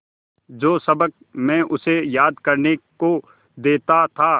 जो सबक मैं उसे याद करने को देता था